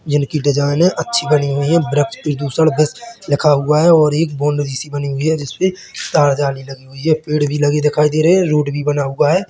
जिनकी डिजाइने अच्छी बनी हुई है वृक्ष प्रदूषण भ्रष्ट लिखा हुआ है और एक बाउंड्री सी बनी हुई है जिस पे तार जाली लगी हुई है पेड़ भी लगे दिखाई दे रहे है रोड भी बना हुआ हैं।